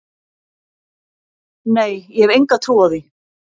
Nei, ég hef enga trú á því.